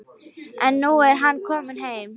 En nú er hann kominn heim.